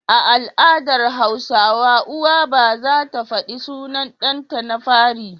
A al'adar hausawa uwa ba zata faɗi sunan ɗan ta na fari